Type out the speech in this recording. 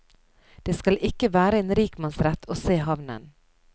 Det skal ikke være en rikmannsrett å se havnen.